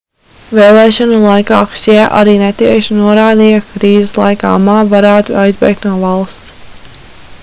vēlēšanu laikā hsjē arī netieši norādīja ka krīzes laikā ma varētu aizbēgt no valsts